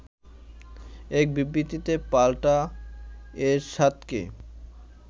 এক বিবৃতিতে পাল্টা এরশাদকে